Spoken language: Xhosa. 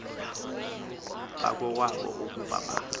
bakowabo ukuba ba